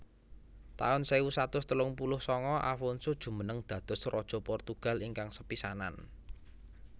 taun sewu satus telung puluh sanga Afonso jumeneng dados raja Portugal ingkang sepisanan